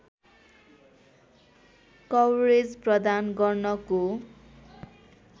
coverage प्रदान गर्नको